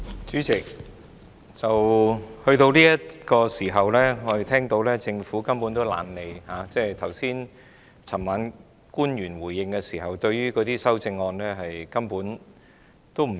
主席，到了這個時候，政府根本懶得理會，官員昨晚回應時根本對修正案置之不理。